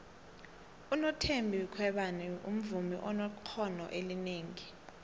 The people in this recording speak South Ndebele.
unothembi khwebane muvmi onekqono elinengi